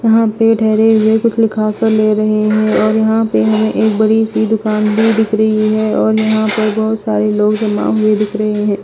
यहां पे ठहरे हुए कुछ लिखा कर ले रहे हैं और यहां पे हमें एक बड़ी सी दुकान भी दिख रही है और यहां पे बहोत सारे लोग जमा हुए दिख रहे हैं।